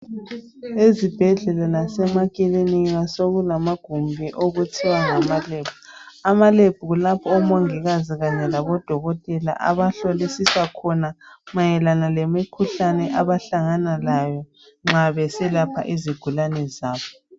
Ezibhendlela lazemakilinika sokulamagumbi okuthiwa ngamalab. Amalab kulapho omongikazi Kanye labodokotela abahlolisisa khona mayelana lemikhuhlane abahlangana layo nxa beselapha izigulane zabo.